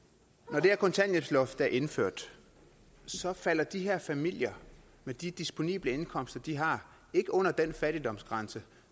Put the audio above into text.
når det her kontanthjælpsloft er indført så falder de her familier med de disponible indkomster de har ikke under den fattigdomsgrænse